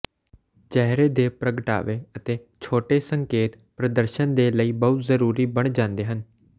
ਚਿਹਰੇ ਦੇ ਪ੍ਰਗਟਾਵੇ ਅਤੇ ਛੋਟੇ ਸੰਕੇਤ ਪ੍ਰਦਰਸ਼ਨ ਦੇ ਲਈ ਬਹੁਤ ਜ਼ਰੂਰੀ ਬਣ ਜਾਂਦੇ ਹਨ